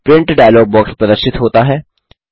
print dialogue box प्रदर्शित होता है